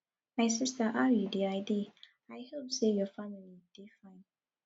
my sister how you dey i dey i hope say your family dey fine